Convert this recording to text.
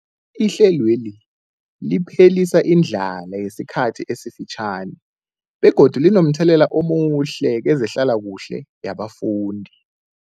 Ihlelweli liphelisa indlala yesikhathi esifitjhani begodu linomthelela omuhle kezehlalakuhle yabafundi.